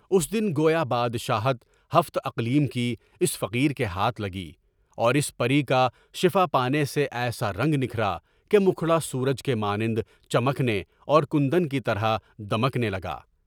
اس دن گویا بادشاہتِ ہفت اقلیم کی اس فقیر کے ہاتھ لگی، اور اس پری کا شفا پانے سے ایسا رنگ نکلا کہ مکھڑا سورج کے مانند چمکنے اور کندن کی طرح دمکنے لگا۔